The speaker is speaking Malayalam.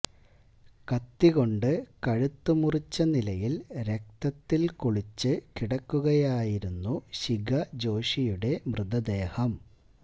കത്തി കൊണ്ട് കഴുത്ത് മുറിച്ച നിലയിൽ രക്തത്തിൽ കുളിച്ച് കിടക്കുകയായിരുന്നു ശിഖ ജോഷിയുടെ മൃതദേഹം